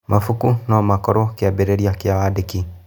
Mabuku no makorwo kĩambĩrĩria kĩa wandĩki.